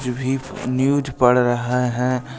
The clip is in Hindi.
न्यूज़ पढ़ रहे हैं।